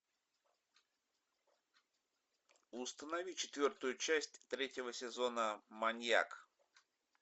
установи четвертую часть третьего сезона маньяк